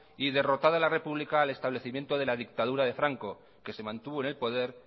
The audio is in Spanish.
y derrotada la república al establecimiento de la dictadura de franco que se mantuvo en el poder